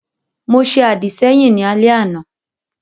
Mo ṣe àdìsẹ́yìn ní alẹ́ àná